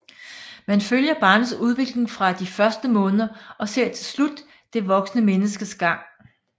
Man følger barnets udvikling fra de første måneder og ser til slut det voksne menneskes gang